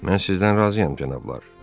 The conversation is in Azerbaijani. Mən sizdən razıyam, cənablar.